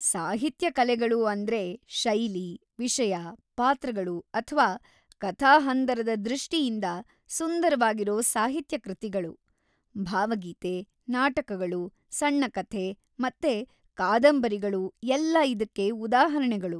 ಸಾಹಿತ್ಯ ಕಲೆಗಳು ಅಂದ್ರೆ ಶೈಲಿ, ವಿಷಯ, ಪಾತ್ರಗಳು ಅಥ್ವಾ ಕಥಾಹಂದರದ ದೃಷ್ಟಿಯಿಂದ ಸುಂದರವಾಗಿರೋ ಸಾಹಿತ್ಯ ಕೃತಿಗಳು. ಭಾವಗೀತೆ, ನಾಟಕಗಳು, ಸಣ್ಣ ಕಥೆ ಮತ್ತೆ ಕಾದಂಬರಿಗಳು ಎಲ್ಲ ಇದಕ್ಕೆ ಉದಾಹರಣೆಗಳು.